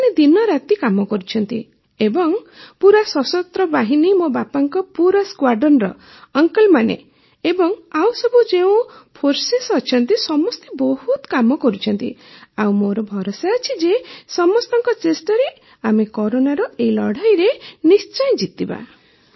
ସେମାନେ ଦିନରାତି କାମ କରୁଛନ୍ତି ଏବଂ ପୂରା ସଶସ୍ତ୍ର ବାହିନୀ ମୋ ବାପାଙ୍କ ପୁରା ସ୍କ୍ୱାଡ୍ରନର ଅଙ୍କଲମାନେ ଏବଂ ଆଉସବୁ ଯେଉଁ ଫୋର୍ସେସ୍ ଅଛନ୍ତି ସମସ୍ତେ ବହୁତ କାମ କରୁଛନ୍ତି ଆଉ ମୋର ଭରସା ଅଛି ଯେ ସମସ୍ତଙ୍କ ଚେଷ୍ଟାରେ ଆମେ କରୋନାର ଏହି ଲଢ଼େଇରେ ନିଶ୍ଚୟ ଜିତିବା